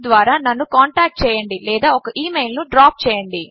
ద్వారా నన్ను కాంటాక్ట్ చేయండి లేదా ఒక ఈ మెయిల్ ను డ్రాప్ చేయండి